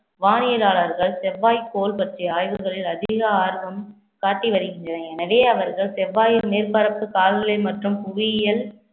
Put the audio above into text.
வானியலாளர்கள் செவ்வாய்க்கோள் பற்றிய ஆய்வுகளில் அதிக ஆர்வம் காட்டி வருகின்றன எனவே அவர்கள் செவ்வாயின் மேற்பரப்பு காலநிலை மற்றும் புவியியல்